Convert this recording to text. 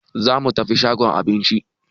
Za mu tafi shagon Aminci.